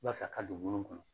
Walasa a ka don ŋunu kɔnɔ